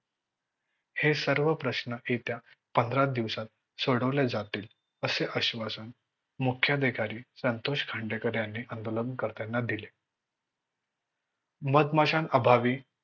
हे सर्व प्रश्न येत्या पंधरा दिवसात सोडवले जातील असे आश्वासन मुख्य अधिकारी मुख्यअधिकारी संतोष खांदेकर यांनी आंदोलन कर्त्यांना दिले. मधमाशा अभावी